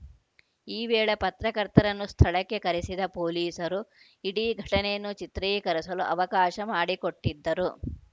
ಈ ವೇಳೆ ಪತ್ರಕರ್ತರನ್ನು ಸ್ಥಳಕ್ಕೆ ಕರೆಸಿದ ಪೊಲೀಸರು ಇಡೀ ಘಟನೆಯನ್ನು ಚಿತ್ರೀಕರಿಸಲು ಅವಕಾಶ ಮಾಡಿಕೊಟ್ಟಿದ್ದರು